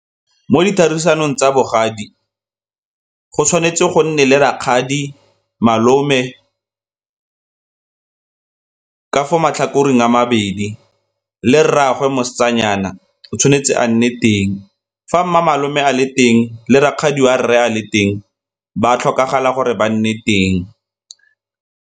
Mo di tsa bogadi, go tshwanetse go nne le rakgadi, malome ka fo matlhakoreng a mabedi le rraagwe mosetsanyana o tshwanetse a nne teng. Fa mme malome a le teng le rakgadi wa rre a le teng ba a tlhokagala gore ba nne teng.